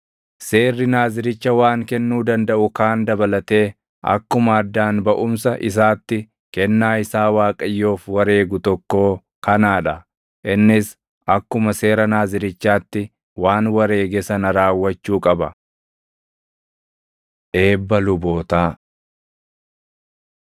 “ ‘Seerri Naaziricha waan kennuu dandaʼu kaan dabalatee akkuma addaan baʼumsa isaatti kennaa isaa Waaqayyoof wareegu tokkoo kanaa dha. Innis akkuma seera Naazirichaatti waan wareege sana raawwachuu qaba.’ ” Eebba Lubootaa